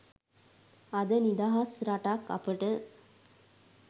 අද නිදහස් රටක් අපට